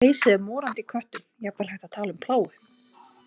Pleisið er morandi í köttum, jafnvel hægt að tala um plágu.